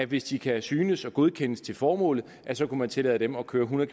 hvis de kan synes og godkendes til formålet så kunne man tillade dem at køre hundrede